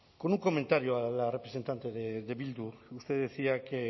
con un comentario a la representante de bildu usted decía que